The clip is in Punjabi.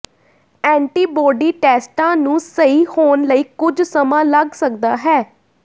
ਐਂਟੀਬੌਡੀ ਟੈਸਟਾਂ ਨੂੰ ਸਹੀ ਹੋਣ ਲਈ ਕੁਝ ਸਮਾਂ ਲੱਗ ਸਕਦਾ ਹੈ